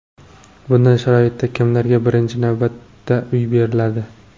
Bunday sharoitda kimlarga birinchi navbatda uy beriladi?